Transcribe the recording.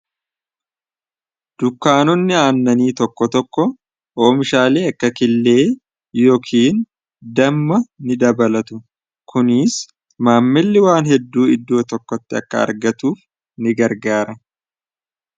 dukkaanonni aannanii tokko tokko oomishaalii akka killee yookiin damma ni dabalatu kuniis maammilli waan hedduu idduu tokkotti akka argatuuf ni gargaara